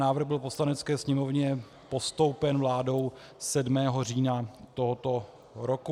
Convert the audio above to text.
Návrh byl Poslanecké sněmovně postoupen vládou 7. října tohoto roku.